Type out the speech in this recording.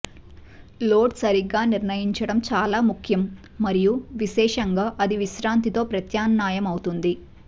load సరిగ్గా నిర్ణయించడం చాలా ముఖ్యం మరియు విశేషంగా అది విశ్రాంతితో ప్రత్యామ్నాయమవుతుంది